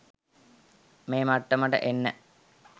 මේ මට්ටමට එන්න